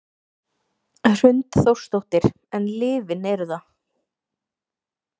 Hrund Þórsdóttir: En lyfin eru það?